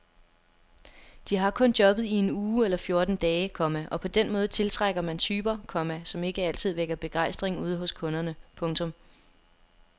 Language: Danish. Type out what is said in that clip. De har kun jobbet i en uge eller fjorten dage, komma og på den måde tiltrækker man typer, komma som ikke altid vækker begejstring ude hos kunderne. punktum